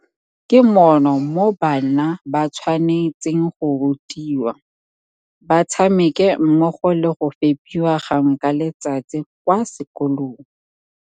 Ke mono mo bana ba tshwane tseng go rutiwa, ba tshameke mmogo le go fepiwa gangwe ka letsatsi kwa sekolong.